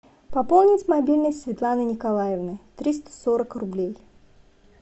пополнить мобильный светланы николаевны триста сорок рублей